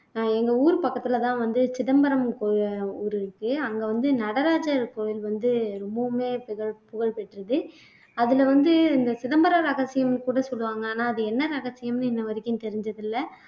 அஹ் எங்க ஊர் பக்கத்துலதான் வந்து சிதம்பரம் அஹ் ஊர் இருக்கு அங்க வந்து நடராஜர் கோயில் வந்து ரொம்பவுமே புகழ் புகழ்பெற்றது அதுல வந்து இந்த சிதம்பர ரகசியம்ன்னு கூட சொல்லுவாங்க ஆனா அது என்ன ரகசியம்ன்னு இன்னவரைக்கும் தெரிஞ்சது இல்லை